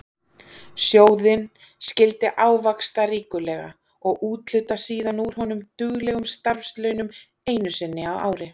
Sjóðinn skyldi ávaxta ríkulega og úthluta síðan úr honum duglegum starfslaunum einu sinni á ári.